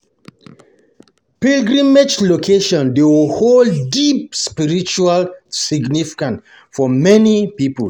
Pilgrimage locations dey hold deep spiritual significance for many people.